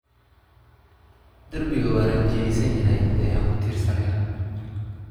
Darbiga waa rinjiyeysanyahay, ee ha ku tiirsaanin.